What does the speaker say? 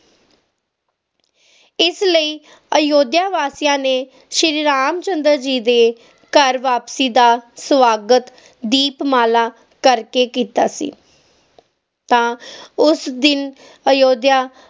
ਇਸ ਲਈ ਅਯੁੱਧਿਆ ਵਾਸੀਆਂ ਨੇ ਸ਼ੀਰੀ ਰਾਮ ਚੰਦਰ ਜੀ ਦੇ ਘਰ ਵਾਪਸੀ ਦਾ ਸਵਾਗਤ ਦੀਪਮਾਲਾ ਕਰਕੇ ਕੀਤਾ ਸੀ ਤਾ ਉਸ ਦਿਨ ਅਯੋਧਿਆ